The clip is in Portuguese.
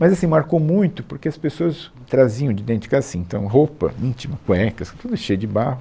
Mas assim, marcou muito, porque as pessoas traziam de dentro de casa assim, então, roupa íntima, cuecas, tudo cheio de barro.